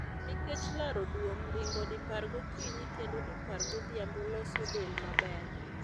Nikech laro duong' ringo dipar gokinyi kendo dipar godhiambo loso del maber